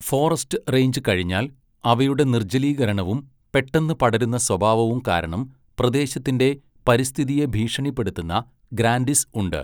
Forest range കഴിഞ്ഞാൽ, അവയുടെ നിർജ്ജലീകരണവും പെട്ടെന്ന് പടരുന്ന സ്വഭാവവും കാരണം പ്രദേശത്തിന്റെ പരിസ്ഥിതിയെ ഭീഷണിപ്പെടുത്തുന്ന ഗ്രാൻഡിസ് ഉണ്ട്.